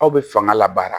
Aw bɛ fanga labara